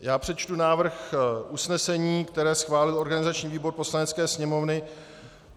Já přečtu návrh usnesení, který schválil organizační výbor Poslanecké sněmovny.